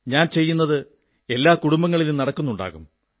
ഞാൻ ചെയ്യുന്നത് എല്ലാ കുടുംബങ്ങളിലും നടക്കുന്നുമുണ്ടാകും